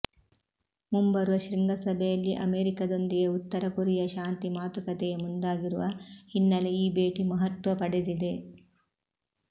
ಮುಂಬರುವ ಶೃಂಗಸಭೆಯಲ್ಲಿ ಅಮೇರಿಕದೊಂದಿಗೆ ಉತ್ತರ ಕೊರಿಯಾ ಶಾಂತಿ ಮಾತುಕತೆಗೆ ಮುಂದಾಗಿರುವ ಹಿನ್ನೆಲೆ ಈ ಭೇಟಿ ಮಹತ್ವ ಪಡೆದಿದೆ